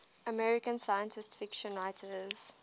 american science fiction writers